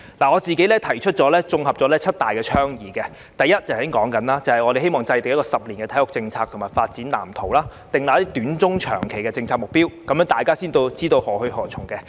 我綜合了七大倡議：第一，正如剛才所說，我們希望制訂10年的體育政策和發展藍圖，訂立短、中、長期的政策目標，這樣大家才知道何去何從。